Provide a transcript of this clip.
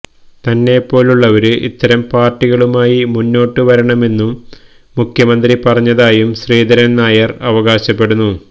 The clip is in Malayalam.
തന്നെപ്പോലുള്ളവര് ഇത്തരം പാര്ട്ടികളുമായി മുന്നോട്ടുവരണമെന്നു മുഖ്യമന്ത്രി പറഞ്ഞതായും ശ്രീധരന് നായര് അവകാശപ്പെടുന്നു